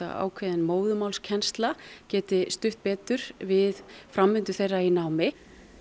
ákveðin móðurmálskennsla geti stutt betur við framvindu þeirra í námi